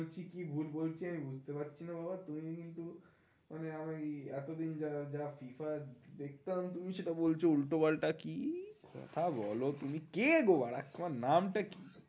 কি ভুল বলছি আমি বুঝতে পারছি না বাবা, তুমি কিন্তু মানে আমার এই এত দিন যা যা FIFA দেখতাম তুমি সেটা বলছো উল্টোপাল্টা কি কথা বোলো তুমি, কে গো তোমার নাম তটা কি?